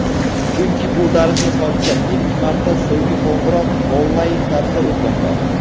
Chunki bu tarixiy hodisa —ilk marta "So‘nggi qo‘ng‘iroq" onlayn tarzda o‘tmoqda!.